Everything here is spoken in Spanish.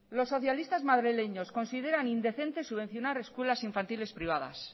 los socialistas madrileños consideran indecente subvencionar escuelas infantiles privadas